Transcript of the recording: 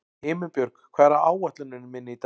Himinbjörg, hvað er á áætluninni minni í dag?